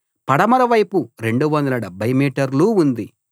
పడమర వైపు 270 మీటర్లు ఉంది